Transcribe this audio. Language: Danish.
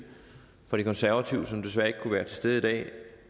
fra de konservative som desværre ikke kunne være til stede i dag og